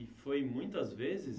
E foi muitas vezes?